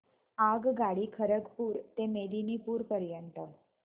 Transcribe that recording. आगगाडी खरगपुर ते मेदिनीपुर पर्यंत